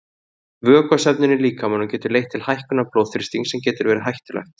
Vökvasöfnun í líkamanum getur leitt til hækkunar blóðþrýstings sem getur verið hættulegt.